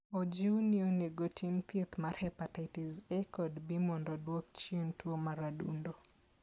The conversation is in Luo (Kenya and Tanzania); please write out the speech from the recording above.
Ojiw ni ji onego otim thieth mar hepatitis A kod B mondo odwok chien tuo mar adundo.